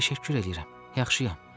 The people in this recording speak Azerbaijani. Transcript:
Təşəkkür eləyirəm, yaxşıyam.